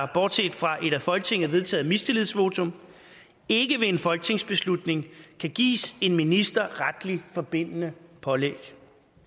bortset fra et af folketinget vedtaget mistillidsvotum ikke ved en folketingsbeslutning kan give en minister retligt forbindende pålæg